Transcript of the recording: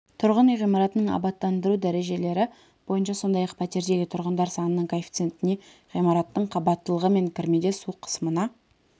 тұрғын үй ғимараттарының абаттандыру дәрежелері бойынша сондай-ақ пәтердегі тұрғындар санының коэффициентіне ғимараттың қабаттылығы мен кірмеде су қысымына